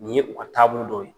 Nin ye o taabolo dɔw ye.